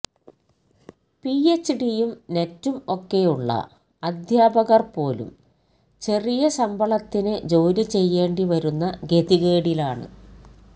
P H ഡിയും നെറ്റും ഒക്കെ ഉളള അധ്യാപകർപോലും ചെറിയശമ്പളത്തിന് ജോലി ചെയ്യേണ്ടി വരുന്ന ഗതികേടിലാണ്